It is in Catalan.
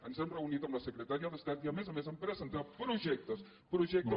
ens hem reunit amb la secretària d’estat i a més a més hem presentat projectes projectes